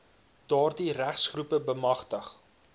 daardie rassegroepe bemagtig